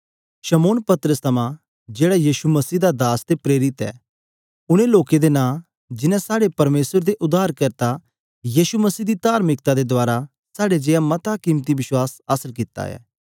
शमौन पतरस दी ओर दा जेहड़ा यीशु मसीह दा दास अते प्रेरित ऐ ऊन लोकें दे नाम जिन्ने साहडे परमेसर अते उद्धारकर्ता यीशु मसीह दी तार्मिकता रहें साहडे लेखा बहुमोल बश्वास प्राप्त कित्ता ऐ